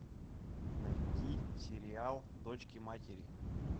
найти сериал дочки матери